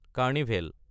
carnival